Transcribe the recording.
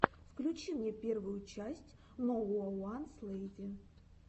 включи мне первую часть ноууанслэйзи